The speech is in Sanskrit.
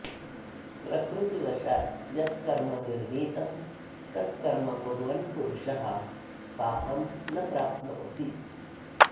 प्रकृतिवशात् यत् कर्म निर्णीतं तत् कर्म कुर्वन् पुरुषः पापं न प्राप्नोति